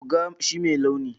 Buga shi mai launi.